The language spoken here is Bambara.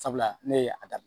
Sabula ne ye a daminɛ